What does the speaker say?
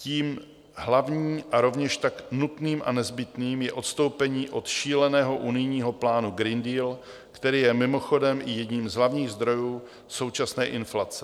Tím hlavním a rovněž tak nutným a nezbytným je odstoupení od šíleného unijního plánu Green Deal, který je mimochodem i jedním z hlavních zdrojů současné inflace.